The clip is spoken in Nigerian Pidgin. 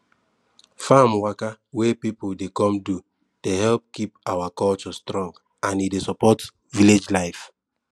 farm waka wey pipu dey come do dey help keep our culture strong and e dey support village life